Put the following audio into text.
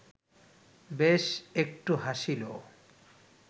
বেশ একটু হাসিল